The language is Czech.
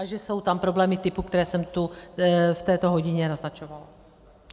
A že jsou tam problémy typu, které jsem tu v této hodině naznačovala.